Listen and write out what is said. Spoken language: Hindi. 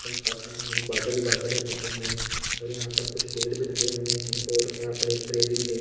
साफ नहीं है बादल ही बादल है मौसम में और यहाँ पर कुछ पेड़ भी लगे हुए है और यहाँ पर है|